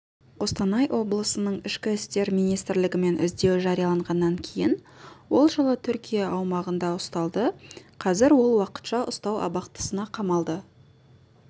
қостанай облысының ішкі істер министрлігімен іздеу жарияланғаннан кейін ол жылы түркия аумағында ұсталды қазір ол уақытша ұстау абақтысына қамалды